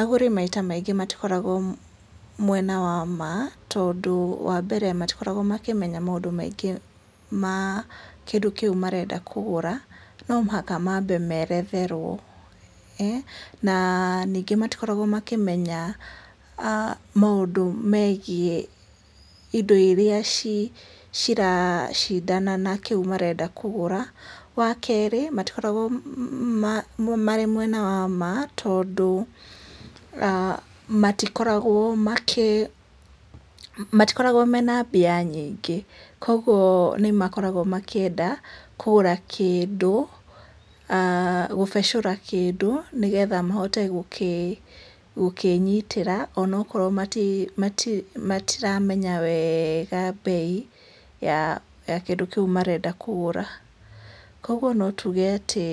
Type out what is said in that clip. Agũri maita maingĩ matikoragwo mwena wa ma tondũ wa mbere matikoragwo makĩmenya maũndũ maingĩ ma kĩndũ kĩu marenda kũgũra no mũhaka mambe maeretherwo, ee na matikoragwo makĩmenya maũndũ megie indo iria cira cindana na kĩndũ kĩu marenda kũgũra, wa kerĩ matikoragwo me mwena wa ma tondũ matikoragwo mena mbia nyingĩ kwoguo nĩ makoragwo makĩenda aah gũbecũra kĩndũ nĩgetha mahote gũkĩnyitĩra ona korwo matiramenya wega mbei ya kĩndũ kĩu marenda kũgũra, kwoguo no tuge atĩ